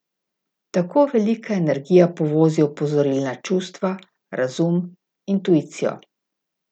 Tako velika energija povozi opozorilna čustva, razum, intuicijo.